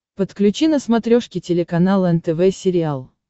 подключи на смотрешке телеканал нтв сериал